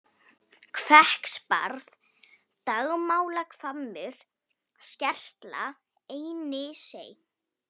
Hvekksbarð, Dagmálahvammur, Skertla, Einisey